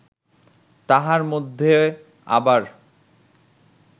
তাহার মধ্যে আবার